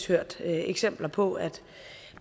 hørt eksempler på at